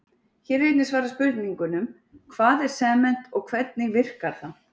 Hér er einnig svarað spurningunum: Hvað er sement og hvernig virkar það?